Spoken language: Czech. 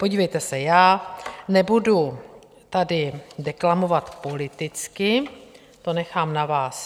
Podívejte se, já nebudu tady deklamovat politicky, to nechám na vás.